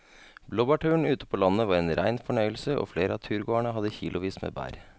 Blåbærturen ute på landet var en rein fornøyelse og flere av turgåerene hadde kilosvis med bær.